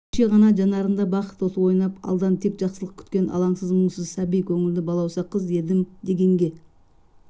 кеше ғана жанарында бақыт оты ойнап алдан тек жақсылық күткен алаңсыз мұңсыз сәби көңілі балауса қыз едім дегенге